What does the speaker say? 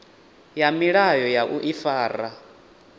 ya milayo ya u ifara